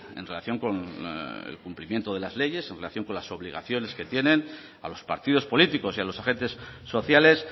en relación con el cumplimiento de las leyes en relación con las obligaciones que tienen a los partidos políticos y a los agentes sociales